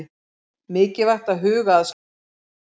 Mikilvægt að huga að skepnunum